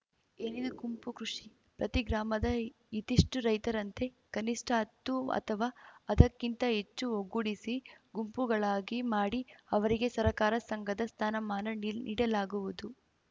ಏನಿದು ಗುಂಪು ಕೃಷಿ ಪ್ರತಿ ಗ್ರಾಮದ ಇತಿಷ್ಟುರೈತರಂತೆ ಕನಿಷ್ಠ ಹತ್ತು ಅಥವಾ ಅದಕ್ಕಿಂತ ಹೆಚ್ಚು ಒಗ್ಗೂಡಿಸಿ ಗುಂಪುಗಳಾಗಿ ಮಾಡಿ ಅವರಿಗೆ ಸರಕಾರ ಸಂಘದ ಸ್ಥಾನಮಾನ ನೀಡಲಾಗುವುದು